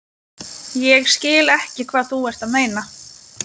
Ég skil ekki hvað þú ert að meina.